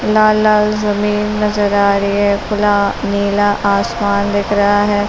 लाल-लाल जमीन नजर आ रही है। खुला नीला आसमान दिख रहा है।